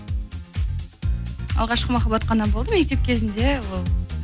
алғашқы махаббат қана болды мектеп кезінде ол